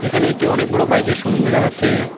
এখানে একটি অনেক বড় বাইক -এর শোরুম দেখা যাচ্ছে।